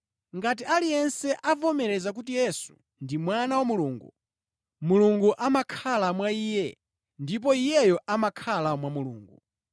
Ngati aliyense avomereza kuti Yesu ndi Mwana wa Mulungu, Mulungu amakhala mwa iye ndipo iyeyo amakhala mwa Mulungu.